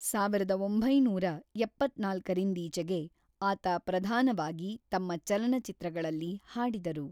ಸಾವಿರದ ಒಂಬೈನೂರ ಎಪ್ಪತ್ತ್ನಾಲ್ಕರಿಂದೀಚೆಗೆ ಆತ ಪ್ರಧಾನವಾಗಿ ತಮ್ಮ ಚಲನಚಿತ್ರಗಳಲ್ಲಿ ಹಾಡಿದರು.